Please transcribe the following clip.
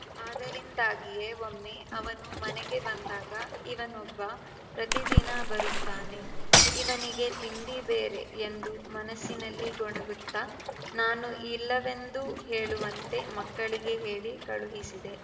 ಅದರಿಂದಾಗಿಯೇ ಒಮ್ಮೆ ಅವನು ಮನೆಗೆ ಬಂದಾಗ ಇವನೊಬ್ಬ ಪ್ರತಿದಿನ ಬರುತ್ತಾನೆ ಇವನಿಗೆ ತಿಂಡಿ ಬೇರೆ ಎಂದು ಮನಸ್ಸಿನಲ್ಲಿ ಗೊಣಗುತ್ತಾ ನಾನು ಇಲ್ಲವೆಂದು ಹೇಳುವಂತೆ ಮಕ್ಕಳಿಗೆ ಹೇಳಿ ಕಳುಹಿಸಿದೆ